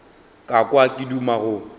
ka kwa ke duma go